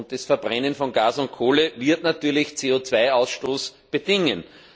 Das Verbrennen von Gas und Kohle wird natürlich CO Ausstoß bedingen.